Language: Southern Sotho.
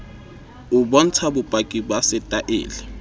o bontsha bopaki ba setaele